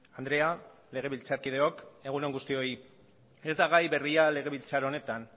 andrea legebiltzarkideok egun on guztioi ez da gai berria legebiltzar honetan